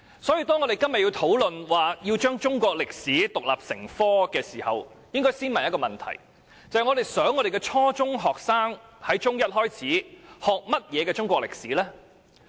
所以，當我們今天討論中史獨立成科時，應先問一個問題：我們想我們的初中學生自中一起學習甚麼中國歷史？